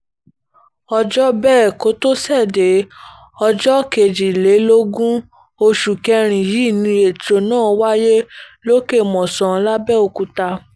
òjọ́bẹ̀kọ́tòṣèdè ọjọ́ kejìlélógún oṣù kẹrin yìí ni ètò náà wáyé lòkè-mòsàn làbẹ́ọ́kútà